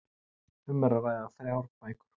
Um er að ræða þrjár bækur